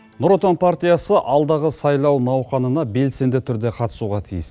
нұр отан партиясы алдағы сайлау науқанына белсенді түрде қатысуға тиіс